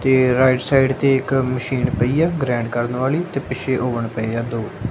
ਤੇ right side ਤੇ ਇਕ ਮਸ਼ੀਨ ਪਈ ਐ ਗਰੈਡ ਕਰਨ ਵਾਲੀ ਤੇ ਪਿੱਛੇ ਔਵਨ ਪਏ ਆ ਦੋ।